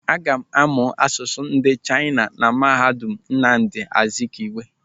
Aga m amụ asụsụ ndị Chaina na mahadum Nnamdi Azikiwe.